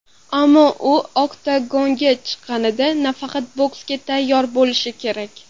Ammo u oktagonga chiqqanida, nafaqat boksga tayyor bo‘lishi kerak.